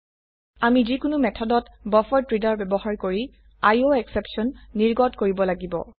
আমি যি কোনো মেথডত বাফাৰেড্ৰেডাৰ ব্যবহাৰ কৰি আইঅএসচেপশ্যন নিৰ্গত কৰিব লাগিব